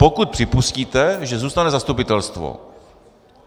Pokud připustíte, že zůstane zastupitelstvo.